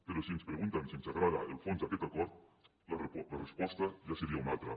però si ens pregunten si ens agrada el fons d’aquest acord la resposta ja seria una altra